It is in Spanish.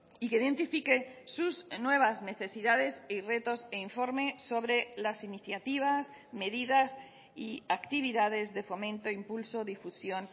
y que identifique sus nuevas necesidades y retos e informe sobre las iniciativas medidas y actividades de fomento impulso difusión